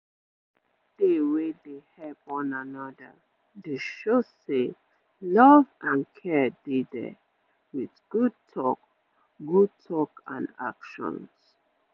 make area dey wey dey help one another dey show say love and care dey there with good talk good talk and actions